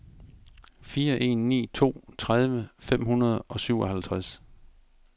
fire en ni to tredive fem hundrede og syvoghalvtreds